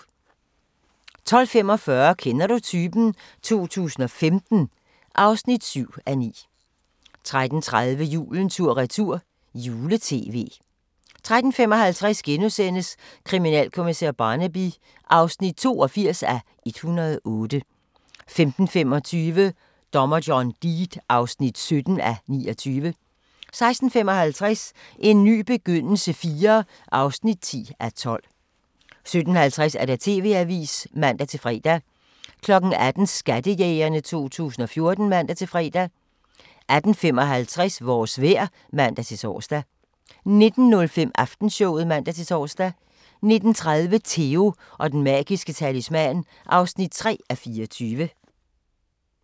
12:45: Kender du typen? 2015 (7:9) 13:30: Julen tur-retur - jule-tv 13:55: Kriminalkommissær Barnaby (82:108)* 15:25: Dommer John Deed (17:29) 16:55: En ny begyndelse IV (10:12) 17:50: TV-avisen (man-fre) 18:00: Skattejægerne 2014 (man-fre) 18:55: Vores vejr (man-tor) 19:05: Aftenshowet (man-tor) 19:30: Theo & Den Magiske Talisman (3:24)